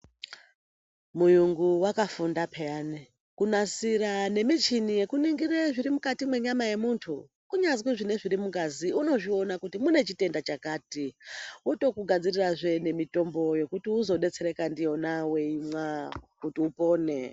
Muyungu wakafunda peyani kunasira nemichini yekunoningire zviri mukati mwenyama yemuntu kunyazwi nezviri mungazi unozviona kuti mune chitenda chakati wotokugadzirirazve nemutombo yekuti uzodetserwkazve nfiyona weimwa kuti upone.